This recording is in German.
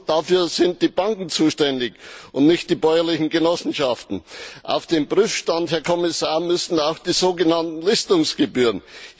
Dafür sind die Banken zuständig, nicht die bäuerlichen Genossenschaften! Auf den Prüfstand, Herr Kommissar, müssen auch die so genannten Listungsgebühren.